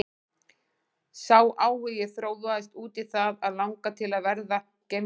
Sá áhugi þróaðist út í það að langa til að verða geimfari.